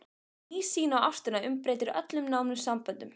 Ný sýn á ástina umbreytir öllum nánum samböndum.